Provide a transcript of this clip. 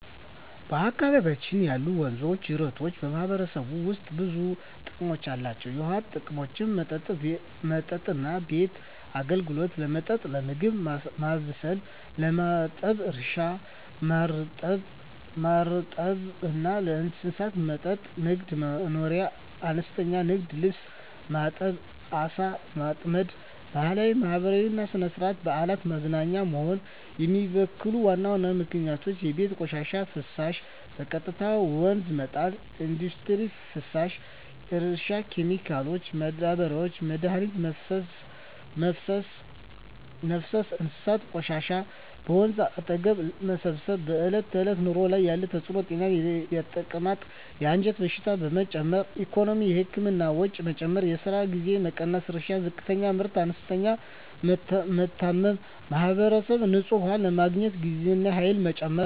በአካባቢያችን ያሉ ወንዞችና ጅረቶች በማህበረሰቡ ውስጥ ብዙ ጥቅሞች አላቸው፣ የውሃ ጥቅሞች መጠጥና ቤት አገልግሎት – ለመጠጥ፣ ለምግብ ማብሰል፣ ለማጠብ እርሻ – ማርጠብ እና ለእንስሳት መጠጥ ንግድ/መኖርያ – አነስተኛ ንግድ (ልብስ ማጠብ፣ ዓሣ ማጥመድ) ባህላዊና ማህበራዊ – ሥነ-ሥርዓት፣ በዓላት፣ መዝናኛ ውሃን የሚበክሉ ዋና ምክንያቶች የቤት ቆሻሻና ፍሳሽ – በቀጥታ ወደ ወንዝ መጣል ኢንዱስትሪ ፍሳሽ – እርሻ ኬሚካሎች – ማዳበሪያና መድኃኒት መፍሰስ እንስሳት ቆሻሻ – በወንዝ አጠገብ መሰብሰብ በዕለት ተዕለት ኑሮ ላይ ያለ ተጽዕኖ ጤና – የተቅማጥ፣ የአንጀት በሽታዎች መጨመር ኢኮኖሚ – የህክምና ወጪ መጨመር፣ የስራ ጊዜ መቀነስ እርሻ – ዝቅተኛ ምርት፣ እንስሳት መታመም ማህበራዊ – ንጹህ ውሃ ለማግኘት ጊዜና ኃይል መጨመር